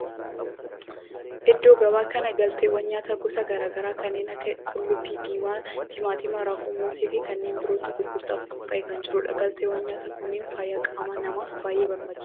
Iddoo gabaa kana galteewwan nyaataa gosa garaa garaa kanneen akka qullubbii diimaa, timaatima, raafuu, moosee fi kanneen birootu gurgurtaaf qophaa'ee kan jirudha. Galteewwan nyaataa kunneen fayyaa qaama namaaf baayyee barbaachisoodha.